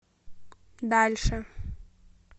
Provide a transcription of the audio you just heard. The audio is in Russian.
дальше